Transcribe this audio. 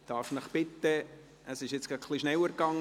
Darf ich Sie bitten, hereinzukommen?